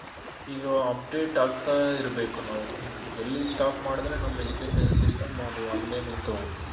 ಈಗ update ಆಗ್ತಾ ಇರ್ಬೇಕು ನಾವು ಎಲ್ಲಿ stop ಮಾಡಿದ್ರೆ ನಮ್ Education system ಅದು ಅಲ್ಲೇ ನಿಂತ್ ಹೋಗುತ್ತೆ.